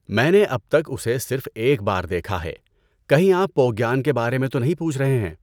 میں نے اب تک اسے صرف ایک بار دیکھا ہے، کہیں آپ پوگیان کے بارے میں تو نہیں پوچھ رہے ہیں؟